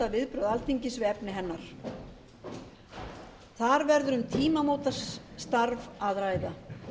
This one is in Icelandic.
viðbrögð alþingis við efni hennar þar verður um tímamótastarf að ræða